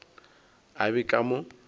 a be a ka mo